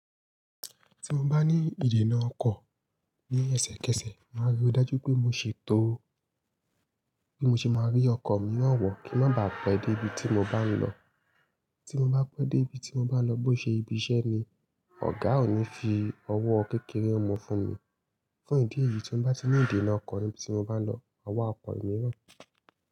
Tí mo bá ní ìdènà ọkọ̀ ní ẹsẹkẹsẹ, màá rí i dájú pé mó ṣe tó, bí mó ṣe máa rí ọkọ̀ miiran wọ̀ kín má baà pẹ́ dé ibi tí mo bá ń lọ. Tí mo bá pẹ́ dé ibi tí mo bá ń lọ bó ṣe ibi iṣẹ́ ni, ọ̀gá ò ní fi owó kékeré mú fún mi. Fún ìdí èyí, tí mo bá ti ní ìdènà ọkọ̀ níbi tí mo bá ń lọ, maa wá ọkọ̀ mìíràn.